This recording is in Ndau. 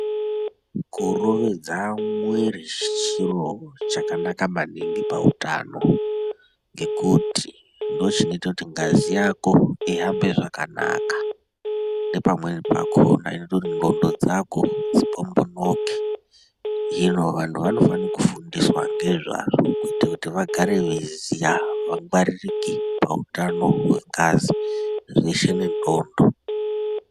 Kurovedza mwiri chiro chakanaka maningi pautano. Ngekuti ndochinoita kuti ngazi yako ihambe zvakanaka nepamweni pakona inoita kuti ndxondo dzako dzipombonoke. Zvinovanhu vanofanika kufundiswa ngezvazvo kuita kuti vagare veiziya vangwaririke pautano hwengazi zveshe nendxondo.